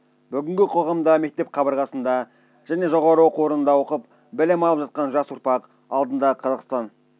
бүгінгі қоғамда мектеп қабырғасында және жоғары оқу орнында оқып білім алып жатқан жас ұрпақ алдында қазақстан